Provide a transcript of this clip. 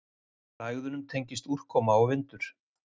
Lægðunum tengist úrkoma og vindur.